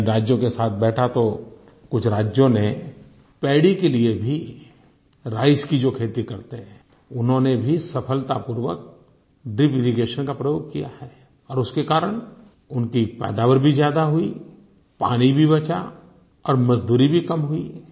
मैं राज्यों के साथ बैठा तो कुछ राज्यों ने पैडी के लिए भी राइस की जो खेती करते हैं उन्होंने भी सफलतापूर्वक ड्रिपिरिगेशन का प्रयोग किया है और उसके कारण उनकी पैदावार भी ज्यादा हुई पानी भी बचा और मजदूरी भी कम हुई